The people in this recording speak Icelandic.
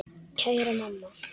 Kæra mamma.